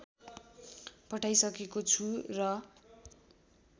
पठाइसकेको छु र